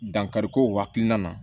Dankari ko hakilina na